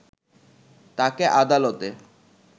তাকে আদালতে